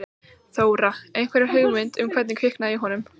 Þóra: Einhverja hugmynd um hvernig kviknaði í honum?